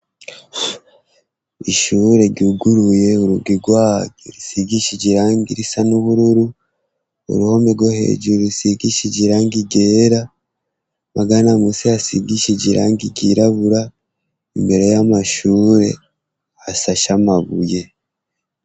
Ishure ryuguruye urugi rwaryo rusigishije irangi ry'ubururu, uruhome rwo hejuru rusigishulije irangi ryera amagana musi hasigishije irangi ryirabura, imbere yamashure hasa she amabuye.